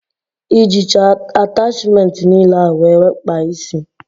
I jicha atachmentị niile ahụ were kpaa ísí?